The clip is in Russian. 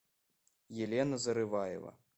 елена зарываева